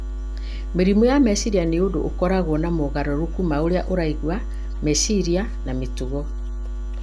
Mĩrimũ ya meciria nĩ ũndũ ũkoragwo na mogarũrũku ma ũrĩa ũraigua, meciria, na mĩtugo.